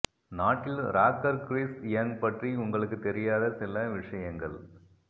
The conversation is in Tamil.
நாட்டில் ராக்கர் கிறிஸ் யங் பற்றி உங்களுக்கு தெரியாத சில விஷயங்கள்